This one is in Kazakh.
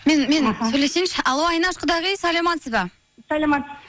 мен сөйлесейінші алло айнаш құдағи саламатсыз ба саламатсыз